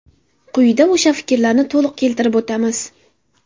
Quyida o‘sha fikrlarni to‘liq keltirib o‘tamiz.